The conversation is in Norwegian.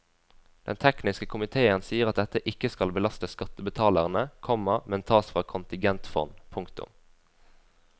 Den tekniske komiteen sier at dette ikke skal belastes skattebetalerne, komma men tas fra kontingentfond. punktum